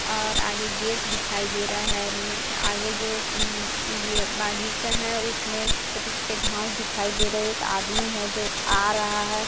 और आगे गेट दिखाई दे रहा है आगे जो ये बगीचा है उसमे छोटे-छोटे घास दिखाई दे रहा है एक आदमी है जो आ रहा है।